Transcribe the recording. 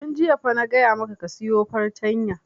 Tun jiya fa na gaya maka ka sayo fartanya!